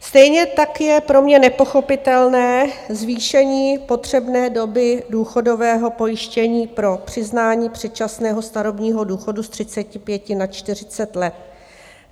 Stejně tak je pro mě nepochopitelné zvýšení potřebné doby důchodového pojištění pro přiznání předčasného starobního důchodu z 35 na 40 let.